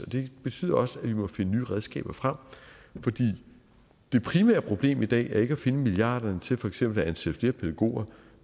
det betyder også at vi må finde nye redskaber frem fordi det primære problem i dag ikke er at finde milliarderne til for eksempel at ansætte flere pædagoger